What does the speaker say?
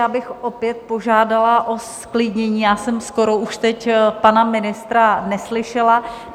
Já bych opět požádala o zklidnění, já jsem skoro už teď pana ministra neslyšela.